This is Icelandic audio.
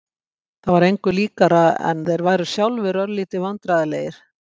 Það var engu líkara en þeir væru sjálfir örlítið vandræðalegir.